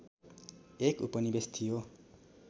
एक उपनिवेश थियो